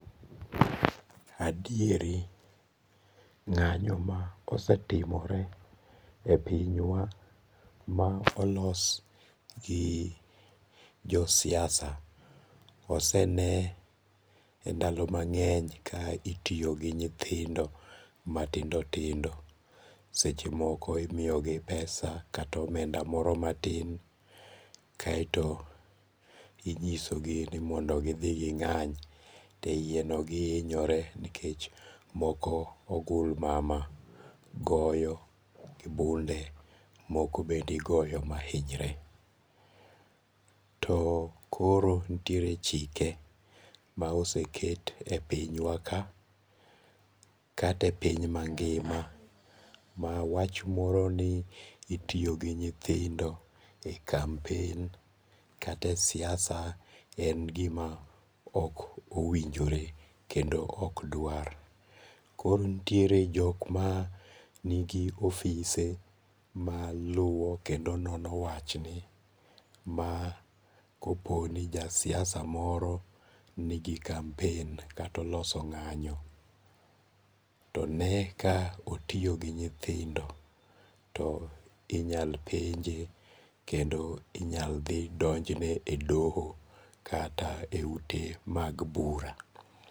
Adieri nga'nyo ma osetimore e pinywa ma olos gi jo siasa osene e ndalo mangeny ka itiyo gi nyithindo matindo tindo, sechemoko imiyogi pesa kata omenda moro matin kaeto inyisogi ni mondo githi gi ng'any iyeno gihinyore moko ogulmama goyo gi bunde, moko bende igoyo mahinyre. To koro nitiere chike ma oseket e pinywa ka kate e piny mangi'ma ma wach moro ni itiyo gi nyithindo e kampen kata e siasa en gima ok owinjore kendo ok dwar koro nitiere jok ma nigi ofise maluo kendo nono wachni ma koponi ja siasa moro nigi kampen kata oloso nga'nyo to one ka otiyo gi nyithindo to inyal penje kendo inyal dhi donjne e doho kata e ute mag bura.